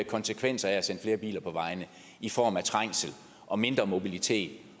konsekvenser af at sende flere biler på vejene i form af trængsel og mindre mobilitet